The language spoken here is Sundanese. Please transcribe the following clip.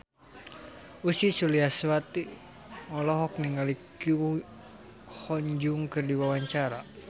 Ussy Sulistyawati olohok ningali Ko Hyun Jung keur diwawancara